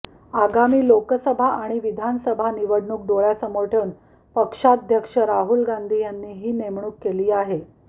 आगामी लोकसभा आणि विधानसभा निवडणूक डोळ्यांसमोर ठेवून पक्षाध्यक्ष राहुल गांधी यांनी ही नेमणुक केली आहे